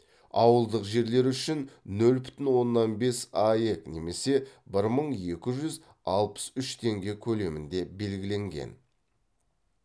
ауылдық жерлер үшін нөл бүтін оннан бес аек немесе бір мың екі жүз алпыс үш теңге көлемінде белгіленген